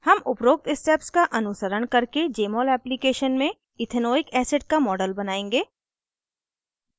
हम उपरोक्त steps का अनुसरण करके jmol application में ethanoic acid का model बनाएंगे